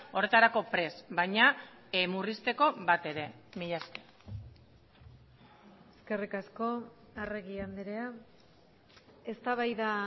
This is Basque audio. horretarako prest baina murrizteko batere mila esker eskerrik asko arregi andrea eztabaida